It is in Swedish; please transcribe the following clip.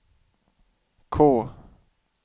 K